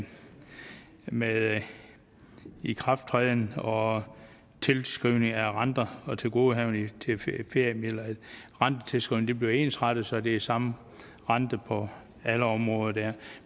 med ikrafttræden og tilskrivning af renter og tilgodehavende og rentetilskrivningen bliver ensrettet så det er samme rente på alle områder